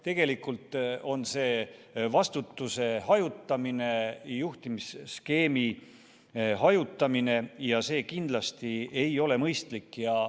Tegelikult on see vastutuse hajutamine, juhtimisskeemi hajutamine ja see kindlasti ei ole mõistlik.